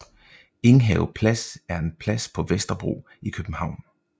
Enghave Plads er en plads på Vesterbro i København